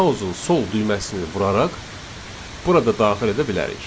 Mausun sol düyməsini vuraraq burada daxil edə bilərik.